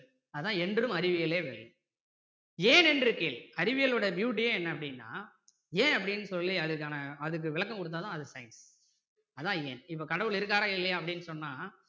அதான் என்றும் அறிவியலே வெல்லும் ஏன்னென்று கேள் அறிவியலோட beauty யே என்ன அப்படின்னா ஏன் அப்படின்னு சொல்லி அதுக்கான~அதுக்கு விளக்கம் கொடுத்தா தான் அது science அதான் ஏன் இப்போ கடவுள் இருக்காரா இல்லையா அப்படின்னு சொன்னா